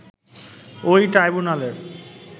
ওই ট্রাইব্যুনালের